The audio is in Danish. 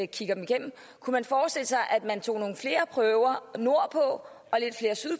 kigger dem igennem kunne forestille sig at man tog nogle flere prøver nordpå